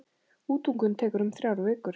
Útungun tekur um þrjár vikur.